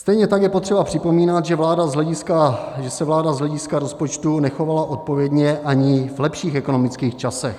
Stejně tak je potřeba připomínat, že se vláda z hlediska rozpočtu nechovala odpovědně ani v lepších ekonomických časech.